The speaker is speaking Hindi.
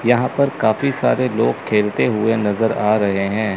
यहां पर काफी सारे लोग खेलते हुए नजर आ रहे हैं।